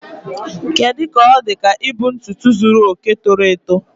Kedu ka ọ dị ka ibu ntutu zuru oke toro eto?